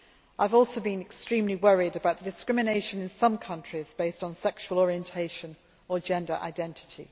I have also been extremely worried about the discrimination in some countries based on sexual orientation or gender identity.